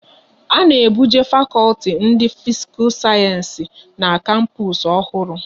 A na ebuje fakọlti ndị Fisikal Sayensi n'kapus ọhụrụ